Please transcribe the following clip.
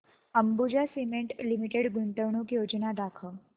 Ambuja cement limited गुंतवणूक योजना दाखव